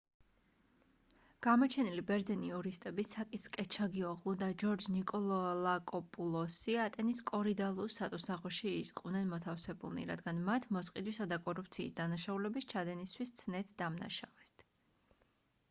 გამოჩენილი ბერძენი იურისტები საკის კეჩაგიოღლუ და ჯორჯ ნიკოლაკოპულოსი ატენის კორიდალუს სატუსაღოში იყვნენ მოთავსებულნი რადგან მათ მოსყიდვისა და კორუფციის დანაშაულების ჩადენისთვის ცნეს დამნაშავედ